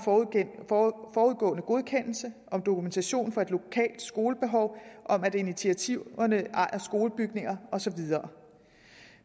forudgående godkendelse dokumentation for et lokalt skolebehov at initiativtagerne ejer skolebygninger og så videre